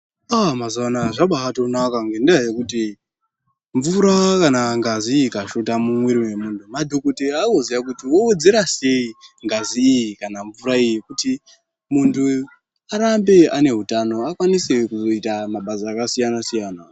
Aaah zvambaatonaka ngndaa yekuti mvura kana ngazi ikashota mumwiri wemunhu madhokodheya vanoziya kuti vowedzera sei ngazi iyi kana mvura iyi kuti munhu arambe aneutano akwanise kuzoita mabasa akasiyana siyana.